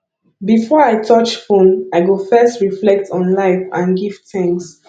before i touch phone i go first reflect on life and give thanks